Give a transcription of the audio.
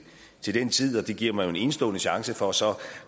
til den tid og det giver mig jo en enestående chance for så